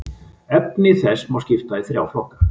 Efni þess má skipta í þrjá flokka.